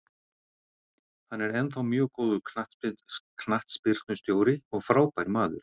Hann er ennþá mjög góður knattspyrnustjóri og frábær maður